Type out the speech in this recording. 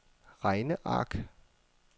regneark